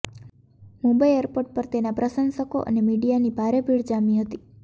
Mumbai airport પર તેના પ્રશંસકો અને મીડિયાની ભારે ભીડ જામી હતી